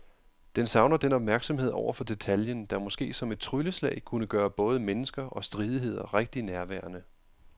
Den savner den opmærksomhed over for detaljen, der måske som et trylleslag kunne gøre både mennesker og stridigheder rigtig nærværende.